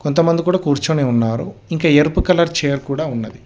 కొంతమంది కూడా కూర్చొని ఉన్నారు ఇంకా ఎరుపు కలర్ చైర్ కూడా ఉన్నది.